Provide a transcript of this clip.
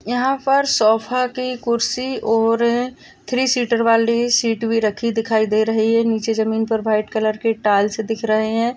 यहाँ पर सोफ़ा की कुर्सी और थ्री सीटर वाली सीट भी राखी दिखाई दे रही है निचे जमीन पे व्हाइट कलर की टाइल्स दिख रही है।